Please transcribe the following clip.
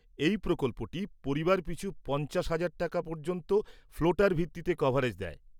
এই প্রকল্পটি পরিবার পিছু পঞ্চাশ হাজার টাকা পর্যন্ত ফ্লোটার ভিত্তিতে কভারেজ দেয়।